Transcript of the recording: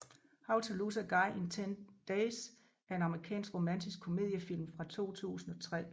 How to Lose a Guy in 10 Days er en amerikansk romantisk komediefilm fra 2003